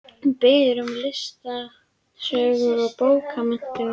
Hún biður um listasögu og bókmenntasögu.